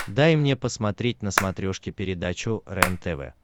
дай мне посмотреть на смотрешке передачу рентв